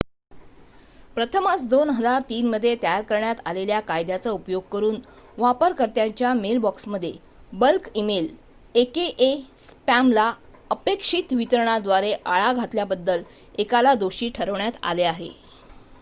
प्रथमच २००३ मध्ये तयार करण्यात आलेल्या कायद्याचा उपयोग करून वापरकर्त्याच्या मेलबॉक्समध्ये बल्क इमेल aka स्पॅमला अनपेक्षित वितरणाद्वारे आळा घातल्याबद्दल एकाला दोषी ठरवण्यात आले आहे